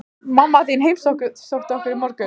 Mamma þín heimsótti okkur í morgun.